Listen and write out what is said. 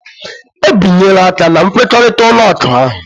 Ebinyela aka na nkwekọrịta ụlọ akụ ahụ.